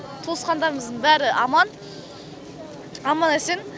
туысқандарымыздың бәрі аман аман есен